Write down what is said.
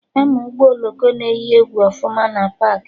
Ama Ụgbọ oloko na eyi egwu ọfụma na paakị